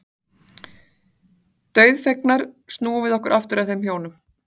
Dauðfegnar snúum við okkur aftur að þeim hjónum.